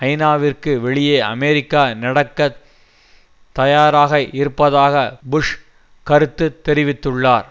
ஐநாவிற்கு வெளியே அமெரிக்கா நடக்க தயாராக இருப்பதாக புஷ் கருத்து தெரிவித்துள்ளார்